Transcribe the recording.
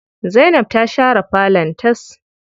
Zainab ta share falon tas.